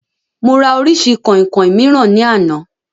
Mo rà orísìí kọ̀ìnkọ̀ìn mìíràn ní àná